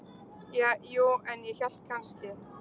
Ja, jú, en ég hélt kannski.